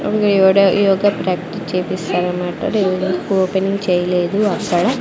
ఈ ఒక్క కట్ చేపిస్తా అన్నమాట ఓపెన్ చేయలేదు అక్కడ.